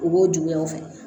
U b'o juguyaw fɛ